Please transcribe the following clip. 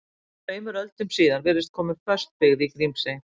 Tveimur öldum síðar virðist komin föst byggð í Grímsey.